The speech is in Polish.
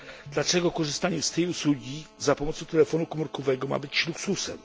Dlaczego korzystanie z tej usługi za pomocą telefonu komórkowego ma być luksusem?